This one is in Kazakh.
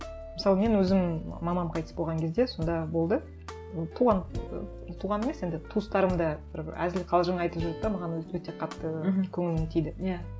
мысалы мен өзім мамам қайтыс болған кезде сонда болды ы туған туған емес енді туыстарым да бір әзіл қалжың айтып жүрді де маған өте қатты мхм көңіліме тиді иә